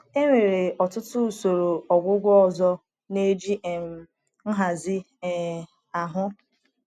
Enwere ọtụtụ usoro ọgwụgwọ ọzọ na-eji um nhazi um ahụ.